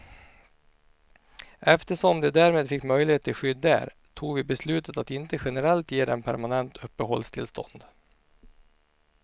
Eftersom de därmed fick möjlighet till skydd där tog vi beslutet att inte generellt ge dem permanent uppehållstillstånd.